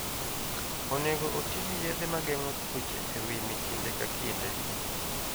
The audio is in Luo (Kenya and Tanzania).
Onego oti gi yedhe ma geng'o tuoche e wimy kinde ka kinde.